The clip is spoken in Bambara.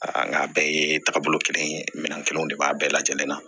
Aa nka a bɛɛ ye taagabolo kelen ye minɛn kelenw de b'a bɛɛ lajɛlen na